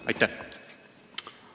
Aitäh!